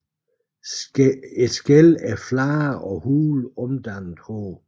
Skællene er flade og hule omdannede hår